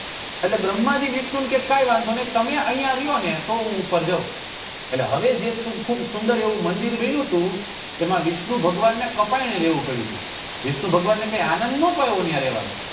એટલે ભ્રમ્હાં જી વિષ્ણુ ને કે કઈ વાંધો નહી તમે અહિયાં રો ને તો હું ઉપર જાઉં એટલે હવે જે સુખ ખુબ સુંદર મંદિર બન્યું હતું એમાં વિષ્ણુ ભગવાનને કપાયને રેવું પડ્યું તું વિષ્ણુ ભગવાનને કઈ આનંદ નઈ પાયો ત્યાં રેવા માં